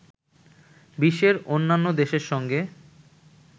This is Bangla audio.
বিশ্বের অন্যান্য দেশের সঙ্গে